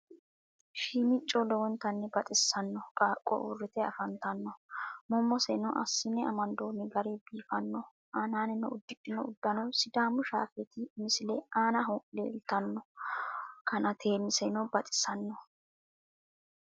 shiimico lowontanni baxisanno qaaqo uurite afanitanno mumoseno asinne amandoonni gari biifanno aannani udidhinno udanno sidaamu shafeeti misille aannaho leelitanno kanateeiseno baxisannoho.